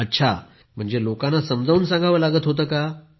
अच्छा लोकांना समजावून सांगावं लागत होतं